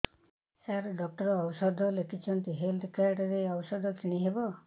ସାର doctor ଔଷଧ ଲେଖିଛନ୍ତି health card ରୁ ଔଷଧ କିଣି ହେବ